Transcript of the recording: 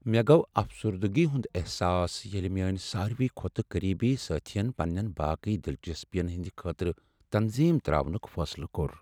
مےٚ گوٚو افسردگی ہنٛد احساس ییٚلہ میٛٲنۍ سارۍوٕے کھۄتہٕ قریبی سٲتھی ین پنٛنٮ۪ن باقٕے دلچسپین ہٕنٛد خٲطرٕ تنظیم ترٛاونک فٲصلہٕ کوٚر۔